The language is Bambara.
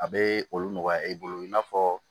A bɛ olu nɔgɔya i bolo i n'a fɔ